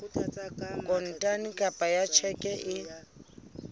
kontane kapa ka tjheke e